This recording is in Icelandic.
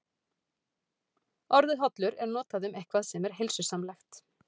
Orðið hollur er notað um eitthvað sem er heilsusamlegt.